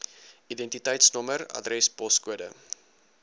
identiteitsnommer adres poskode